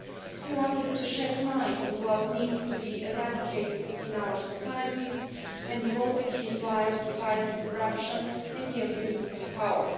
He wanted to shed light on what needs to be eradicated in our societies and devoted his life to fighting corruption and the abuse of power.